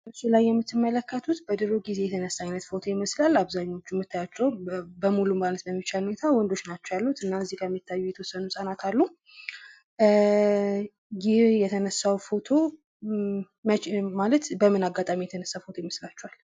በምስሉ ላይ የምትመለከቱት በድሮ ጊዜ የተነሣ አይነት ፎቶ ይመስላል ።በአብዛኞቹ የምታዩኣቸው በሙሉ ማለት በሚቻል ሁኔታ ወንዶች ናቸው ያሉት። እና ጋር የሚታዩት የተወሰኑ ህፃናት አሉ። ኧ ይህ የተነሳ ፎቶ ኧ መቼ ማለት በምን አጋጣሚ የተነሳ ፎቶ ይመስላችኋል።